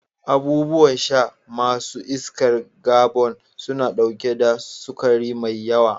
Abubuwan sha ma su iskar kabon suna ɗauke da sukari mai yawa.